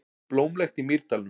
Blómlegt í Mýrdalnum